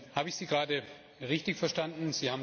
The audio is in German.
Habe ich Sie gerade richtig verstanden?